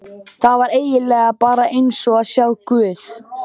Það var eigin lega bara eins og að sjá guð.